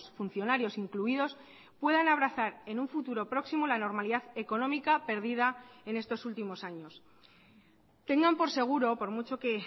funcionarios incluidos puedan abrazar en un futuro próximo la normalidad económica perdida en estos últimos años tengan por seguro por mucho que